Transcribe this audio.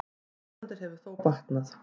Ástandið hefur þó batnað.